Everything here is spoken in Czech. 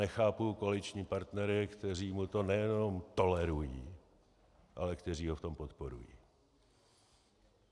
Nechápu koaliční partnery, kteří mu to nejenom tolerují, ale kteří ho v tom podporují.